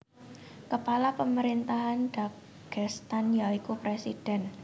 Kepala pemerintahan Dagestan ya iku presiden